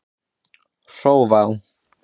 Hrófá